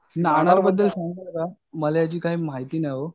नानाबद्दल सांगाल का मला याची काय माहिती नाही ओ.